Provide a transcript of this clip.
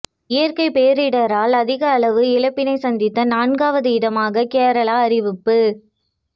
இயற்கை பேரிடரால் அதிக அளவு இழப்பினை சந்தித்த நான்காவது இடமாக கேரளா அறிவிப்பு